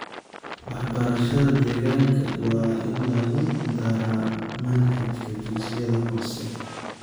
Waxbarashada deegaanka waa in lagu daraa manhajka dugsiyada hoose.